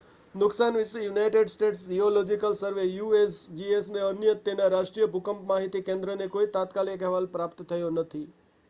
નુકસાન વિશે United States Geological Survey usgsને અને તેના રાષ્ટ્રીય ભૂકંપ માહિતી કેન્દ્રને કોઈ તાત્કાલિક અહેવાલ પ્રાપ્ત થયો નથી